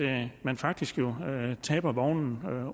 at man faktisk taber vognen